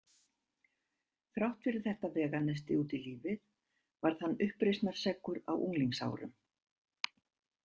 Þrátt fyrir þetta veganesti út í lífið varð hann uppreisnarseggur á unglingsárum.